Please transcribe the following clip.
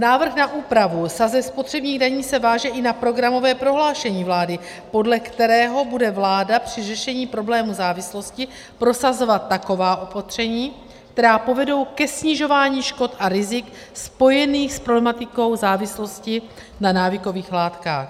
Návrh na úpravu sazeb spotřebních daní se váže i na programové prohlášení vlády, podle kterého bude vláda při řešení problému závislosti prosazovat taková opatření, která povedou ke snižování škod a rizik spojených s problematikou závislosti na návykových látkách.